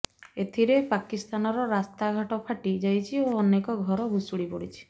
ଏଥିରେ ପାକିସ୍ତାନର ରାସ୍ତା ଘାଟ ଫାଟି ଯାଇଛି ଓ ଅନେକ ଘର ଭୁଶୁଡ଼ି ପଡ଼ିଛି